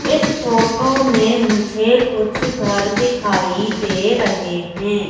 इस फोटो मुझे कुछ घर दिखाई दे रहे हैं।